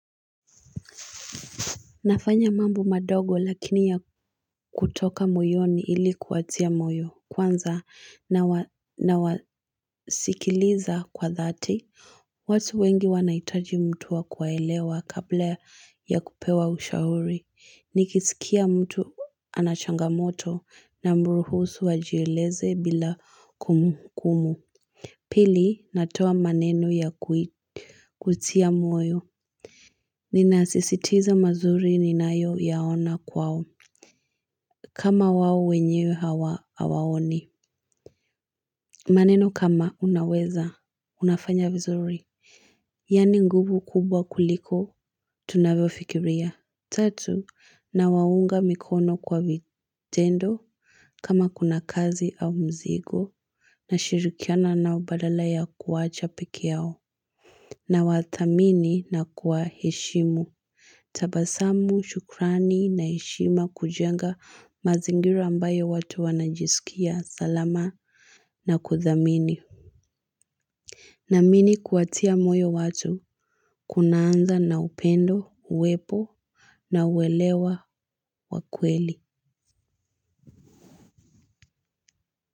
Nafanya mambo madogo lakini ya kutoka moyoni ili kuwatia moyo kwanza na wasikiliza kwa dhati. Watu wengi wanahitaji mtu wa kuwaelewa kabla ya kupewa ushauri. Nikisikia mtu anachangamoto na mruhusu ajieleze bila kumbu kumbu. Pili natoa maneno ya kutia moyo. Ninasisitiza mazuri ni nayo yaona kwao. Kama wao wenyewe hawa hawaoni maneno kama unaweza, unafanya vizuri yaani nguvu kubwa kuliko, tunavyo fikiria tatu, na waunga mikono kwa vitendo kama kuna kazi au mzigo na shirikiana nao badala ya kuwacha pekee yao na wathamini na kuwa heshimu tabasamu, shukrani na heshima kujenga mazingira ambayo watu wanajisikia salama na kuthamini. Naamini kuwatia moyo watu kunaanza na upendo, uwepo na uwelewa wa kweli.